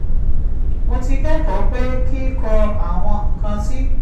mo ti kẹ́kọ̀ọ́ pé kíkọ àwọn nǹkan tí